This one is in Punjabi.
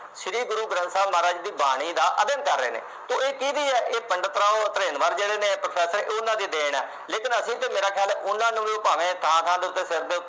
ਸ਼੍ਰੀ ਗੁਰੂ ਗ੍ਰੰਥ ਸਾਹਿਬ ਮਹਾਰਾਜ ਦੀ ਬਾਣੀ ਦਾ ਅਧਿਐਨ ਕਰ ਰਹੇ ਨੇ ਸੋ ਇਹ ਕਿਹਦੀ ਆ ਪੰਡਿਤ ਰਾਓ ਜਿਹੜੇ ਨੇ ਉਨ੍ਹਾਂ ਦੀ ਦੇਣ ਹੈ ਲੇਕਿਨ ਅਸੀਂ ਤੇ ਮੇਰਾ ਖਿਆਲ ਐ ਉਨ੍ਹਾਂ ਨੂੰ ਵੀ ਭਾਵੇ ਥਾਂ ਥਾਂ ਤੇ ਉਤੇ ਦੇ